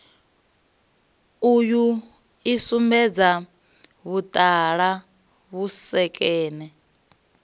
uyu i sumbedza vhuṱala vhusekene